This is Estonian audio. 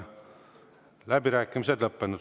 Läbirääkimised on lõppenud.